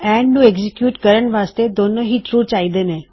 and ਨੂੰ execute ਕਰਣ ਵਾਸਤੇ ਦੋਨੋ ਹੀ ਟਰੂ ਚਾਹੀਦੇ ਨੇ